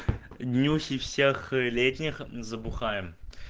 днюхи всех летних забухаем